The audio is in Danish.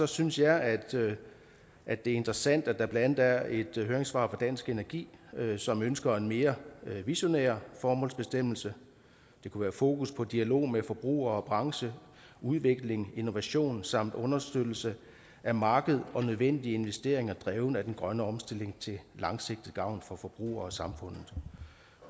synes jeg at det er interessant at der blandt andet er et høringssvar dansk energi som ønsker en mere visionær formålsbestemmelse det kunne være fokus på dialog med forbrugere og branche udvikling innovation samt understøttelse af markedet og nødvendige investeringer drevet af den grønne omstilling til langsigtet gavn for forbrugere og samfundet